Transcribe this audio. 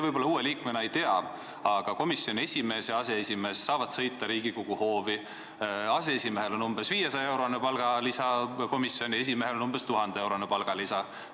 Võib-olla te uue liikmena ei tea, aga komisjoni esimees ja aseesimees saavad sõita Riigikogu hoovi, aseesimehel on umbes 500-eurone palgalisa ja komisjoni esimehel umbes 1000-eurone palgalisa.